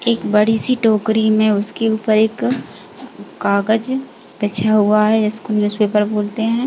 एक बड़ीसी टोकरी में उसके ऊपर एक कागज़ बिछा हुआ है जिसको न्यूजपेपर बोलते हैं।